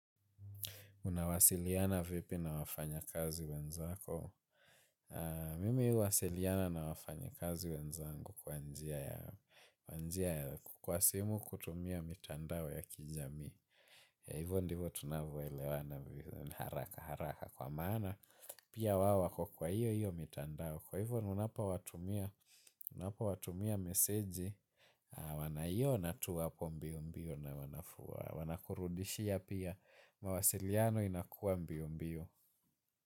Unawasiliana vipi na wafanyakazi wenzako? Mimi huwasiliana na wafanyakazi wenzangu kwa njia ya kwa simu kutumia mitandao ya kijamii. Na hivyo ndivyo tunavyoelewana haraka haraka kwa maana. Pia wao wako kwa hiyo hiyo mitandao. Kwa hivyo unapowatumia meseji wanaiona tu hapo mbiombio na wanafua. Wanakurudishia pia. Mawasiliano inakuwa mbio mbio.